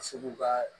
Ka se k'u ka